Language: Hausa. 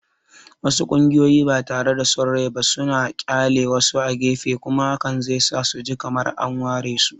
Wasu ƙungiyoyin bada son rai ba suna ƙyale wasu a gefe, kuma hakan zai sa su ji kamar an waresu.